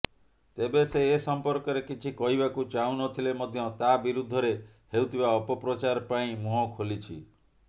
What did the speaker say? ତେବେ ସେ ଏସମ୍ପର୍କରେ କିଛି କହିବାକୁ ଚାହୁଁନଥିଲେ ମଧ୍ୟ ତା ବିରୁଦ୍ଧରେ ହେଉଥିବା ଅପପ୍ରଚାର ପାଇଁ ମୁହଁ ଖୋଲିଛି